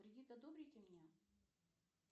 кредит одобрите мне